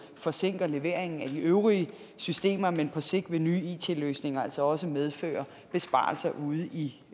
forsinker leveringen af de øvrige systemer men på sigt vil nye it løsninger altså også medføre besparelser ude i